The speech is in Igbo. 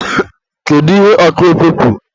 kedu ihe ọkụ ekwe kwuru?